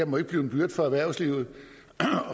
må blive en byrde for erhvervslivet